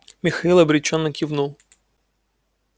михаил обречённо кивнул